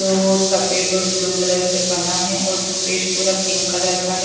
सफेद और blue colour से बना है और स्टेज पूरा पिंक कलर का है।